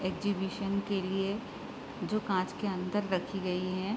Exhibition के लिए जो कांच के अंदर रखे गई है।